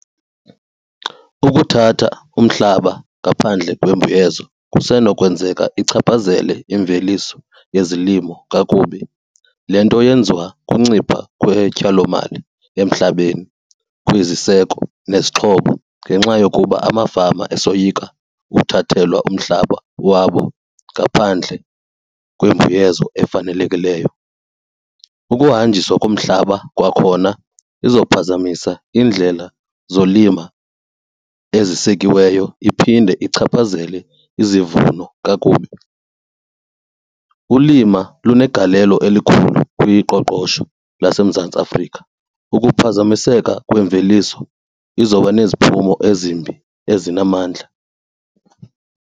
Ukuthatha umhlaba ngaphandle kwembuyezo kusenokwenzeka ichaphazele imveliso yezilimo kakubi. Le nto yenziwa kuncipha kwetyalomali emhlabeni kwiziseko nezixhobo ngenxa yokuba amafama esoyika ukuthathelwa umhlaba wabo ngaphandle kwembuyezo efanelekileyo. Ukuhanjiswa komhlaba kwakhona izophazamisa indlela zolima ezisekiweyo iphinde ichaphazele izivuno kakubi. Ulima lunegalelo elikhulu kwiqoqosho laseMzantsi Afrika. Ukuphazamiseka kwemveliso izoba neziphumo ezimbi ezinamandla.